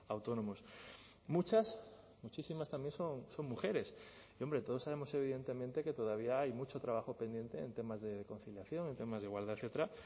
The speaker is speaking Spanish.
autónomos muchas muchísimas también son mujeres y hombre todos sabemos evidentemente que todavía hay mucho trabajo pendiente en temas de conciliación en temas de igualdad etcétera